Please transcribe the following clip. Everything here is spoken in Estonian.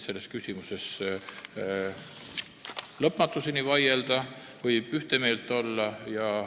Selles küsimuses võib ilmselt lõpmatuseni vaielda või ühte meelt olla.